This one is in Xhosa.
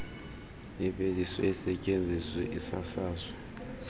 iveliswe isetyenziswe isasazwe